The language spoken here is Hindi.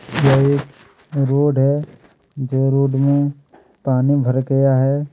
यह एक रोड है जो रोड में पानी भर गया हैं।